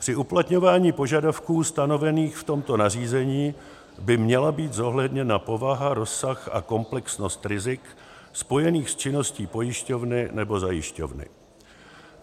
Při uplatňování požadavků stanovených v tomto nařízení by měla být zohledněna povaha, rozsah a komplexnost rizik spojených s činností pojišťovny nebo zajišťovny.